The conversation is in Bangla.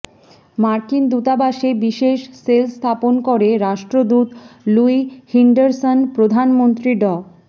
মার্কিন দূতাবাসে বিশেষ সেল স্থাপন করে রাষ্ট্রদূত লুই হিন্ডারসন প্রধানমন্ত্রী ড